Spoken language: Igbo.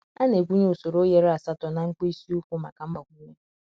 A na-egwunye usoro oghere asatọ na mkpịsị ụkwụ maka mgbakwunye.